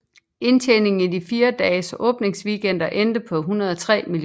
Indtjeningen i de fire dages åbningsweekend endte på 103 mio